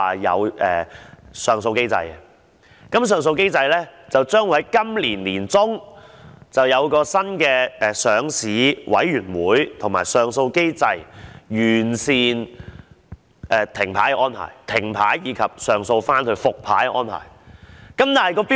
就上訴機制而言，當局表示將會在今年年中訂出一個新的上市委員會及上訴機制，以完善停牌的安排，以及上訴後復牌的安排。